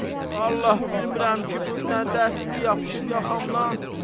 Vallahi bilmirəm ki, bu nə dərddir yapışıb yaxamdan.